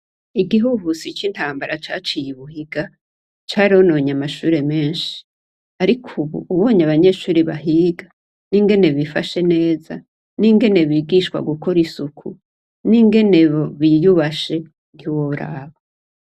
Igihuhusi c'intambara caciye i Buhiga, carononye amashure menshi. Ariko ubu ubonye abanyeshure bahiga, ingene bifashe neza, n'ingene bigishwa gukora isuku, n'ingene biyubashe, ntiworaba.